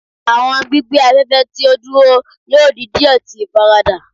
Awọn gbigbẹ afẹfẹ ti o duro yoo di diẹ ti ifarada